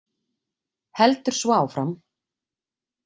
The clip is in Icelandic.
Heldur svo áfram: